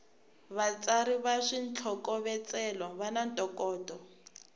vatsari va switlhokovetselo vana ntokoto